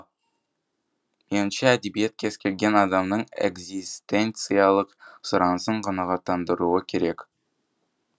меніңше әдебиет кез келген адамның экзистенциялық сұранысын қанағаттандыруы керек